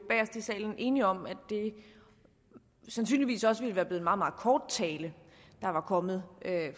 enige om at det sandsynligvis også ville være blevet en meget meget kort tale der var kommet